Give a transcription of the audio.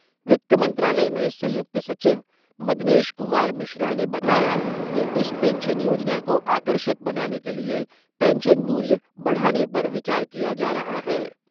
वित्त मंत्रालय में संयुक्त सचिव मदनेश कुमार मिश्रा ने बताया कि इस पेंशन योजना को आकर्षक बनाने के लिये पेंशन मूल्य बढ़ाने पर विचार किया जा रहा है।